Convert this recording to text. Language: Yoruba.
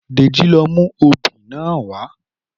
Dèjì ló mú obì náà wá